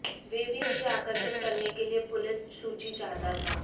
वे भी उसे आकर्षित करने के लिए पुलिस सूची चाहता था